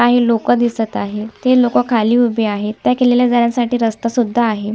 काही लोकं दिसत आहेत ते लोकं खाली उभे आहेत त्या किल्ल्यावर जाण्यासाठी रस्ता सुद्धा आहे.